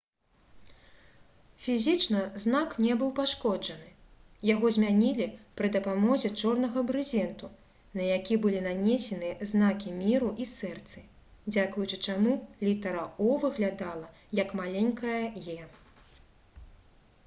фізічна знак не быў пашкоджаны; яго змянілі пры дапамозе чорнага брызенту на які былі нанесены знакі міру і сэрцы дзякуючы чаму літара «o» выглядала як маленькая «e»